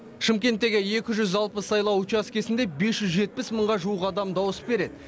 шымкенттегі екі жүз алпыс сайлау учаскесінде бес жүз жетпіс мыңға жуық адам дауыс береді